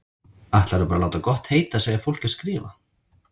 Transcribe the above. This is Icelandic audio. Ætlarðu bara að láta gott heita að segja fólki að skrifa!